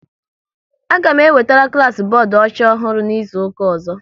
A ga m ewetere klas bọọdụ ọcha ọhụrụ n'izuka ọzọ